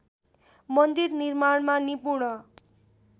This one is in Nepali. मन्दिर निर्माणमा निपुण